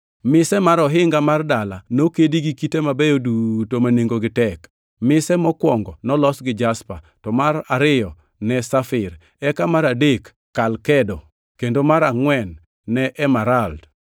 Mise mar ohinga mar dala nokedi gi kite mabeyo duto ma nengogi tek. Mise mokwongo nolos gi jaspa, to mar ariyo ne safir, eka mar adek ne kalkedo kendo mar angʼwen ne emerald,